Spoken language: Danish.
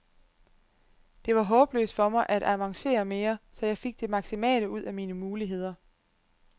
Det var håbløst for mig at avancere mere, så jeg fik det maksimale ud af mine muligheder.